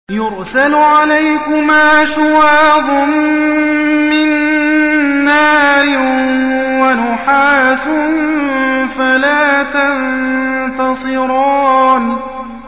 يُرْسَلُ عَلَيْكُمَا شُوَاظٌ مِّن نَّارٍ وَنُحَاسٌ فَلَا تَنتَصِرَانِ